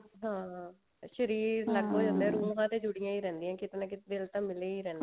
ਹਾਂ ਸ਼ਰੀਰ ਹੋ ਜਾਂਦਾ ਰੂਹਾਂ ਤੇ ਜੁੜੀਆਂ ਹੀ ਰਹਿੰਦੀਆਂ ਕਿਤੇ ਨਾ ਕਿਤੇ ਤਾਂ ਦਿਲ ਮਿਲਿਆ ਹੀ ਰਹਿੰਦਾ